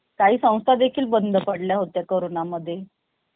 काही सौन्स्टा देखील बंद पडल्या होत्या corona मधे